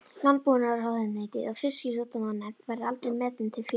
Landbúnaðarráðuneytið og Fisksjúkdómanefnd, verða aldrei metin til fjár.